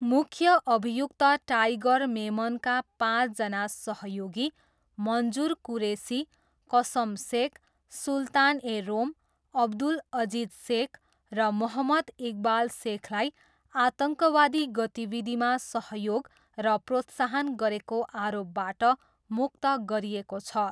मुख्य अभियुक्त टाइगर मेमनका पाँचजना सहयोगी, मन्जुर कुरेसी, कसम सेख, सुल्तान ए रोम, अब्दुल अजिज सेख र मोहम्मद इकबाल सेखलाई आतङ्कवादी गतिविधिमा सहयोग र प्रोत्साहन गरेको आरोपबाट मुक्त गरिएको छ।